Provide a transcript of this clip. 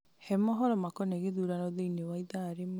he mohoro makoniĩ gĩthurano thĩinĩ wa ithaa rĩmwe